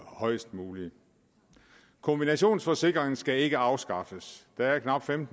højest mulige kombinationsforsikring skal ikke afskaffes der er knap en